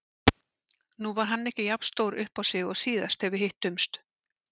Nú var hann ekki jafn stór uppá sig og síðast þegar við hittumst.